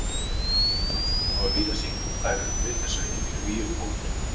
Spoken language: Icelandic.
Rannsóknir hafa sýnt að þær eru við þessa iðju í um hálftíma.